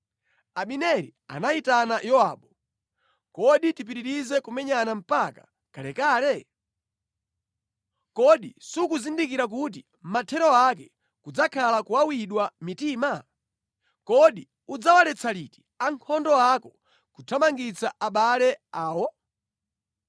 Abineri anayitana Yowabu, “Kodi tipitirize kumenyana mpaka kalekale? Kodi sukuzindikira kuti mathero ake kudzakhala kuwawidwa mitima? Kodi udzawaletsa liti ankhondo ako kuthamangitsa abale awo?”